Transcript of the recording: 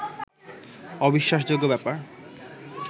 অবিশ্বাসযোগ্য ব্যাপার